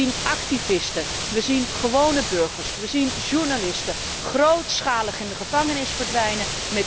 Wij zien activisten, wij zien gewone burgers, wij zien journalisten grootschalig in de gevangenis verdwijnen